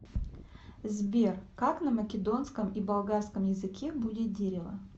сбер как на македонском и болгарском языке будет дерево